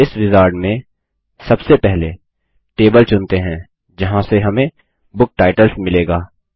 इस विजार्ड में सबसे पहले टेबल चुनते हैं जहाँ से हमें बुक टाइटल्स मिलेगा